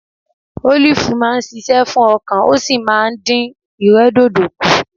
Ólìfú máa ń ṣiṣẹ́ fún ọkàn ó sì máa ń dìn ìrẹ́dòdò kù